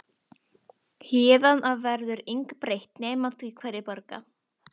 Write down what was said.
Héðan af verður engu breytt nema því hverjir borga.